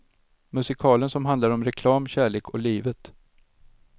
Musikalen som handlar om reklam, kärlek och livet.